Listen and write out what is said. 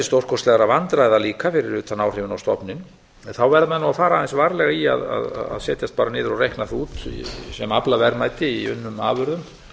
stórkostlegra vandræða líka fyrir utan áhrifin á stofninn en þá verða menn að fara aðeins varlega í að setjast bara niður og reikna það út sem aflaverðmæti í unnum afurðum